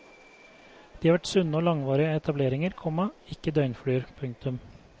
De har vært sunne og langvarige etableringer, komma ikke døgnfluer. punktum